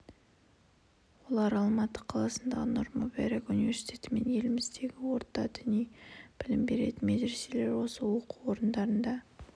олар алматы қаласындағы нұр-мүбарак университеті мен еліміздегі орта діни білім беретін медреселер осы оқу орындарында